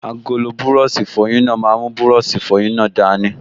Agolo búrọ̀sì ìfọyín náà máa mú búrọ̀sì ìfọyín náà dání